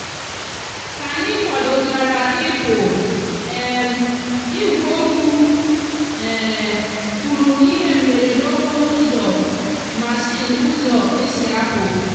k'anyi kwadochara ipú um igweokwu um kwuru na ihe mberede okporo úzò machine úzò esi apú